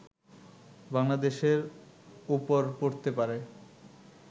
বাংলাদেশের ওপর পড়তে পারে